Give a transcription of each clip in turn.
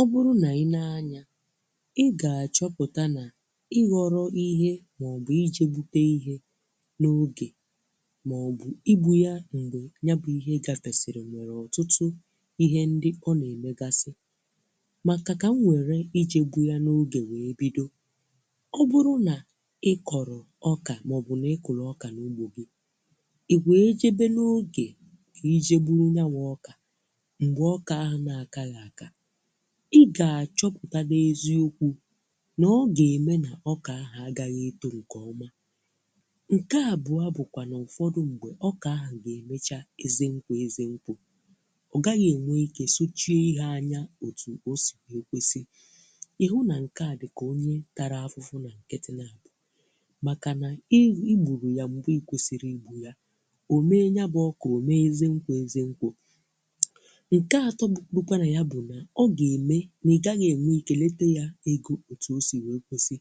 Ọ bụrụ na i nee anya ị ga-achọpụta na ị ghọrọ ihe maọbụ ije bute ihe n'oge maọbụ igbu ya mgbe ya bụ ihe gafesịrị nwere ọtụtụ ihe ndị ọ na-emegasị maka ka m were ije gbu ya n'oge wee bido. Ọ bụrụ na ị kọrọ ọka maọbụ na ị kụrụ ọka n'ugbo gị, ị wee jebe n'oge ka ije gburu ya bụ ọka mgbe ọka ahụ na-akaghị àká ị ga-achọpụta n'eziokwu na ọ ga-eme na ọka ahụ agaghị eto nke ọma. Nke abụọ bụkwanụ na n'ụfọdụ mgbe ọka ahụ ga-enwecha eze nkwo eze nkwo ọ gaghị enwe ike suchie ihe anya òtù ọ si wee kwesi ịhụ na nke a dịka onye tara afụfụ na nkịtị na abọ, makana ị igburu ya mgbe ị kwesịghị igbu ya, o mee ya bu ọka ọ mee eze nkwo eze nkwo nke atọ bụ bụkwana ya bụ na ọ ga-eme na ị gaghị enwe ike lete ya ego otu o si nwee kwesi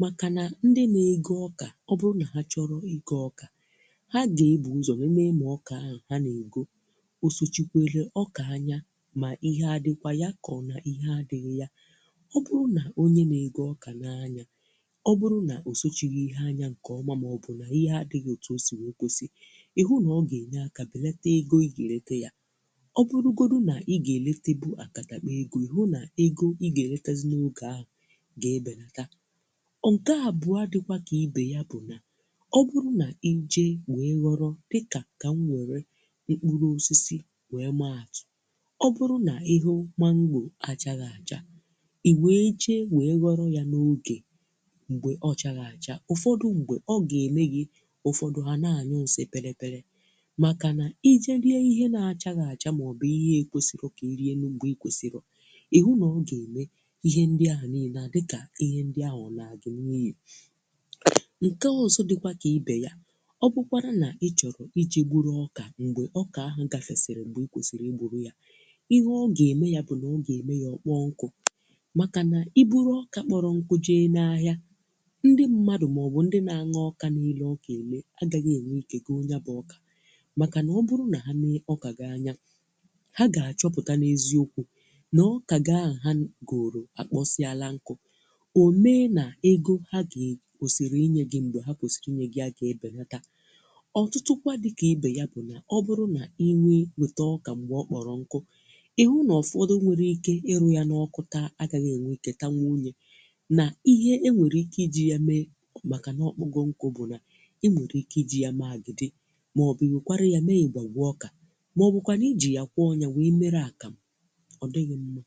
makana ndị na-égó ọka ọ bụrụ na ha chọrọ igo ọka, ha ga-ebu uzo nenee na ọka ahụ ha na-ègó o sochikwere ọka anya ma ihe adịkwa ya maọbụ ihe adịghị ya. Ọ bụrụ na onye na-égó ọka nee anya ọ bụrụ na osochighi ihe anya nke ọma maọbụ na ihe adịghị otu o si wee kwesi, ịhụ na ọ ga-enye aka beleta ego ị ga-elete ya. Ọ burugodu na ị ga-eletebu akatakpo ego, ịhụ na ego ị ga-eletazi n'oge ahụ ga ebelata. Nke abụọ a dịkwa ka ibe ya bụ na ọ bụrụ na i jee wee ghọrọ dịka ka m were mkpụrụ osisi wee maa atụ, ọ bụrụ na ịhụ mango achaghị acha, ị wee jee wee ghọro ya n'oge mgbe ọ chaghị acha ụfọdụ mgbe ọ ga-eme gị ụfọdụ ha na-anyụ nsị kpịrị kpịrị makana ije rie ihe na achaghị acha maọbụ ihe na ekwesirọ ka i rie mgbe i kwesirọ, ịhụ na ọ ga-eme ihe ndị a niile adịka ihe ndị ahụ a laa gị n'ihi. Nke ọzọ dịkwa ka ibe ya ọ bụkwara na ị chọrọ ije gburu ọka mgbe ọka ahụ gafesiri mgbe ị kwesịrị i gburu ya, ihe ọ ga-eme ya bụ na ọ ga-eme ya ọ kpọọ nkụ makana i buru ọka kpọrọ nkụ jee n'ahịa, ndị mmadụ maọbụ ndị na-añya ọka na-ele ọka ele agaghị e nwee ike go ya bụ ọka makana ọ bụrụ na ha nee ọka gị anya ha ga-achọpụta n'eziokwu na ọka gị ahụ ha goro akpọsịara nkụ. Ọ mee na ego ha ga kwesịrị inye gị mgbe ha kwesịrị inye gị ya ga ebeleta. Ọtụtụ kwa dịka ibe ya bụ na ọ bụrụ na ị nwee nweta ọka mgbe ọ kpọrọ nkụ ị hụ na ụfọdụ nwéré ike ịrụ ya n'ọkụ taa agaghị e nwe ike tanwoo ye na ihe e nwere ike iji ya mee makana ọ kpọgo nkụ bụ na e nwere ike iji ya mee agidi maọbụ nwekwara ya mee ngwọngwọ ọka maọbụ kwanụ iji ya kwọọ ya wee mere akamụ, ọ dịghị mma.